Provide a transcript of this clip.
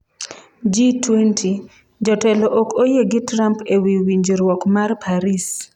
G20: Jotelo ok oyie gi Trump ewi winjruok mar Paris